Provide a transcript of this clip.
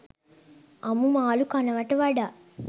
අමු මාළු කනවට වඩා